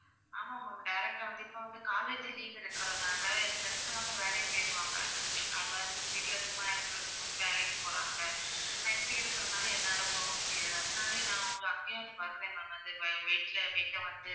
ஆமா ma'am direct ஆ வந்து இப்போ வந்து college leave இருக்கிறதால friends எல்லாமே வேலைக்கு போயிருவாங்க அவங்க வந்து வீட்டுல சும்மா இருக்கிறதுக்கு வந்து வேலைக்கு போறாங்க நான் இப்படி இருக்கிறதுனால என்னால போக முடியல அதனாலயே நான் உங்க அப்போவே வந்து வந்தேன் ma'am அந்த weight weight ட வந்து